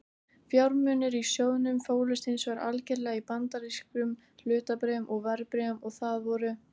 Fjármunirnir í sjóðnum fólust hins vegar algerlega í bandarískum hlutabréfum og verðbréfum og það voru